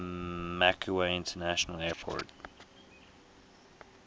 macau international airport